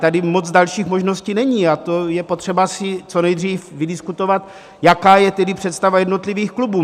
Tady moc dalších možností není a to je potřeba si co nejdříve vydiskutovat, jaká je tedy představa jednotlivých klubů.